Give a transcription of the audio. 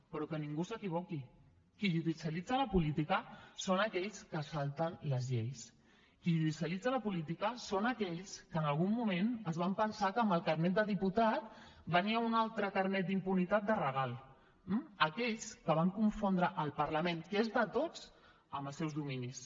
però que ningú s’equivoqui qui judicialitza la política són aquells que es salten les lleis qui judicialitza la política són aquells que en algun moment es van pensar que amb el carnet de diputat venia un altre carnet d’impunitat de regal aquells que van confondre el parlament que és de tots amb els seus dominis